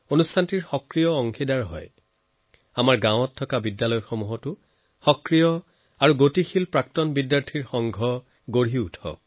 ডাঙৰ কলেজ বা বিশ্ববিদ্যালয়েই নহয় আমাৰ গাঁৱৰ বিদ্যালয়সমূহৰো strong vibrant active alumni network হওক